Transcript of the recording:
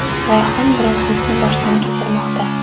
Rayhon bronxitni boshdan kechirmoqda.